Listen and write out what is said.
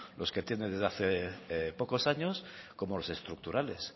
los que tiene desde hace pocos años como los estructurales